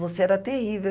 Você era terrível.